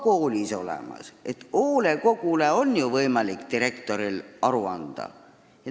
Koolis on ju olemas hoolekogu, kellele direktor saab aru anda.